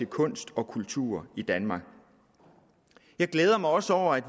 kunst og kultur i danmark jeg glæder mig også over at